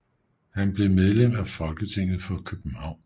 Han blev medlem af Folketinget for København 4